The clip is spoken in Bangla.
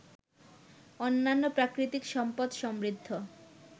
অন্যান্য প্রাকৃতিক সম্পদ সমৃদ্ধ